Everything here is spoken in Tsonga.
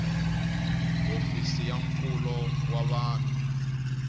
hofisi ya nkulo wa vanhu